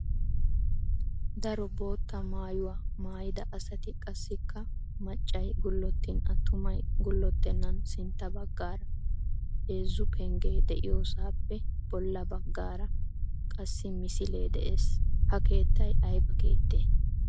Daro bootta maayuwaa maayida asati qassikka maccay gullottin attumay gullottennan sintta baggaara heezzu penggee de"iyoosaappe bolla baggaara qasi misilee de'ees. Ha keettay aybaa keettee?